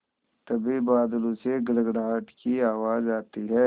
तभी बादलों से गड़गड़ाहट की आवाज़ आती है